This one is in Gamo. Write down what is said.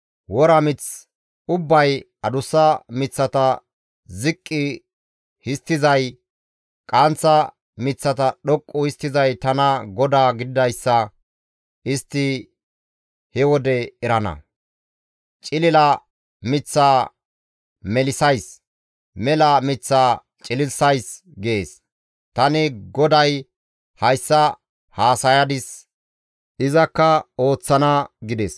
Wora mith ubbay, adussa miththata ziqqi histtizay, qaanththa miththata dhoqqu histtizay tana GODAA gididayssa istti he wode erana; cilila miththata tani melissays; mela miththata tani cililissays› gees. «Tani GODAY Hayssa haasayadis; izakka ooththana» gides.